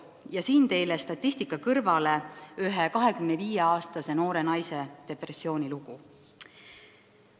Ja siin ongi teile statistika kõrvale ühe 25-aastase noore naise depressiooni lugu.